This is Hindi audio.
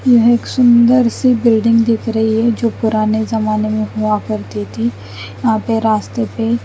यह एक सुंदर सी बिल्डिंग दिख रही है जो पुराने जमाने में हुआ करती थी यहाँ पे रास्ते पे --